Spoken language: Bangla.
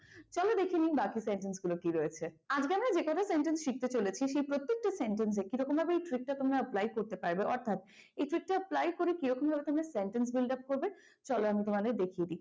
চলো দেখে নেই বাকি sentence এগুলো কি রয়েছে আজকে আমরা যে কটা sentence শিখতে চলেছি সেই প্রত্যেকটা sentence এ কিরকম ভাবে এই trick টা তোমরা apply করতে পারবে অর্থাৎ এই trick টা apply করে কিরকম ভাবে তোমরা sentence buildup করবে চলো আমি তোমাদের দেখিয়ে দিই।